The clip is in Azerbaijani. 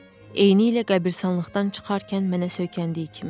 Eynilə qəbiristanlıqdan çıxarkən mənə söykəndiyi kimi.